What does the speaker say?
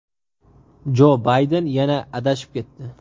Jo Bayden yana adashib ketdi.